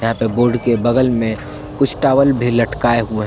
यहां पे बोर्ड के बगल में कुछ टावल भी लटकाए हुए हैं।